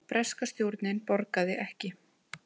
Breska stjórnin borgaði ekki